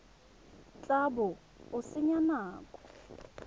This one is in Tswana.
tla bo o senya nako